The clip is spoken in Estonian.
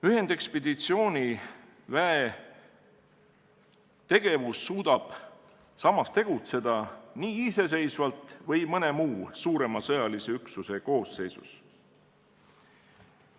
Ühendekspeditsiooniväe tegevus suudab tegutseda iseseisvalt või mõne muu suurema sõjalise üksuse koosseisus.